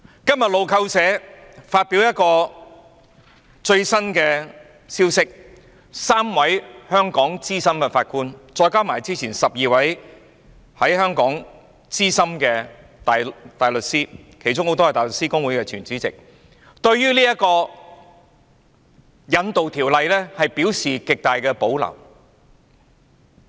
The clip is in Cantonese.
今天路透社發表了一個最新的消息 ，3 位香港資深法官，加上之前12位香港資深大律師，其中很多人是香港大律師公會的前主席，對於這項有關引渡的條例表示極大的保留。